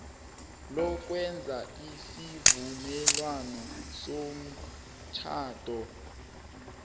lokwenza isivumelwano somtjhado